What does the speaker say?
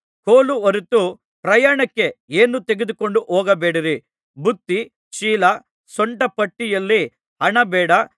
ಕೋಲು ಹೊರತು ಪ್ರಯಾಣಕ್ಕೆ ಏನೂ ತೆಗೆದುಕೊಂಡು ಹೋಗಬೇಡಿರಿ ಬುತ್ತಿ ಚೀಲ ಸೊಂಟಪಟ್ಟಿಯಲ್ಲಿ ಹಣ ಬೇಡ